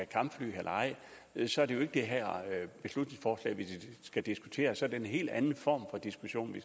kampfly eller ej så er det jo ikke det her beslutningsforslag vi skal diskutere så er det en helt anden form for diskussion